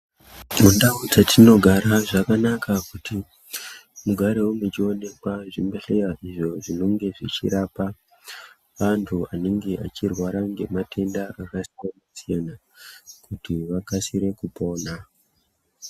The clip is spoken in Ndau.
Mundau dzatinogara zvakanaka kuti mugarewo muchionekwa mu zvibhedhlera izvo zvinonge zvi chirapa antu anenge achi rwara ne matenda aka siyana siyana kuti vakasire kupona.